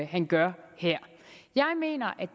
han gør her jeg mener